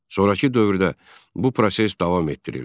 Sonrakı dövrdə bu proses davam etdirildi.